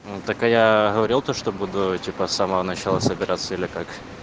ну так а я говорил то что типа самого начала собираться или как